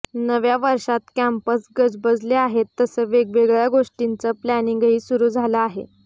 नव्या वर्षात कॅम्पस गजबजले आहेत तसं वेगवेगळ्या गोष्टींचं प्लॅनिंगही सुरू झालं आहे